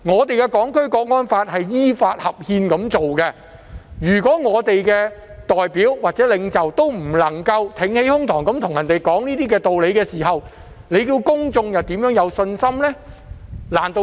《香港國安法》是依法合憲訂立，如果我們的代表或領袖不能挺起胸膛，與別人講道理，公眾怎會有信心呢？